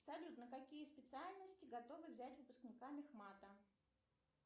салют на какие специальности готовы взять выпускника мехмата